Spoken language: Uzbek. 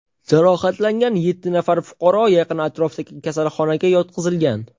Jarohatlangan yetti nafar fuqaro yaqin atrofdagi kasalxonaga yotqizilgan.